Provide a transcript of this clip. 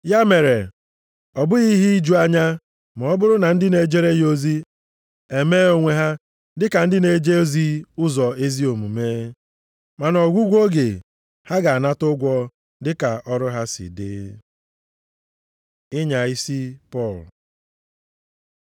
Ya mere, ọ bụghị ihe iju anya ma ọ bụrụ na ndị na-ejere ya ozi emee onwe ha dịka ndị na-eje ozi ụzọ ezi omume. Ma nʼọgwụgwụ oge, ha ga-anata ụgwọ dịka ọrụ ha si dị. Ịnya isi Pọl